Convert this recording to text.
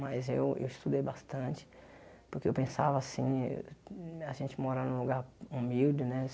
Mas eu eu estudei bastante, porque eu pensava assim eh, a gente mora num lugar humilde, né?